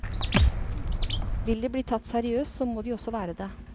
Vil de bli tatt seriøst, så må de også være det.